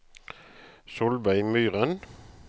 Solveig Myren